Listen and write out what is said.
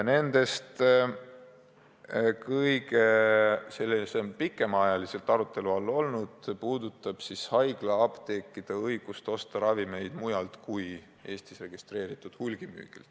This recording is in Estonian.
Kõige pikemat aega on arutelu all olnud haiglaapteekide õigus osta ravimeid mujalt kui Eestis registreeritud hulgimüüjatelt.